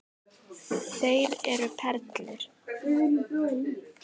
Þeir eru perlur.